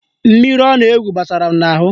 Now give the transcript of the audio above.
Mmiri ọ na-egwu gbasara m n'ahụ